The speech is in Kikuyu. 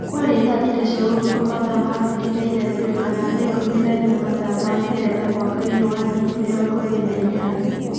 Kwaarĩ thaa thita cia ũtũkũ mathaa ma Abirika ya irathiro kana thaa ikumi na imwe mathaa ma Ngeretha mwaini wa ngiri mĩrongo ĩĩrĩ na inyanya.